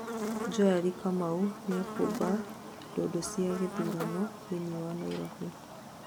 Joeli Kamau niakũmba ndundu cia gĩthurano thĩini wa Nairobi